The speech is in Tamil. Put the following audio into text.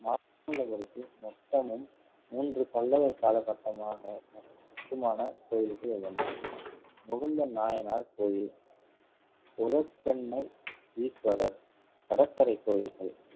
மாமல்லபுரத்தில் மொத்தமும் மூன்று பல்லவர் காலகட்டமாக முக்கியமான கோயிலுக்குள் உள்ளன முகுந்த நாயனார் கோயில் உலக்கண்மை ஈஸ்வரர் கடற்கரை கோயில்கள்.